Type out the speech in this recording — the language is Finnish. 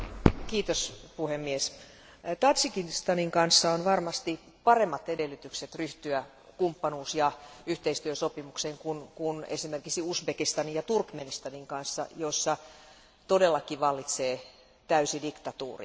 Arvoisa puhemies, Tadžikistanin kanssa on varmasti paremmat edellytykset ryhtyä kumppanuus ja yhteistyösopimukseen kuin esimerkiksi Uzbekistanin ja Turkmenistanin kanssa, joissa todellakin vallitsee täysi diktatuuri.